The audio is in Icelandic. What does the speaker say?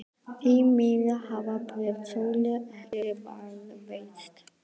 Því miður hafa bréf Sólu ekki varðveist.